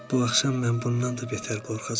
Bu axşam mən bundan da betər qorxacağam.